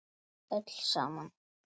Við öll saman.